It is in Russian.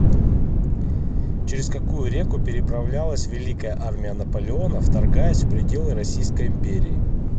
через какую реку переправилась великая армия наполеона вторгаясь в пределы российской империи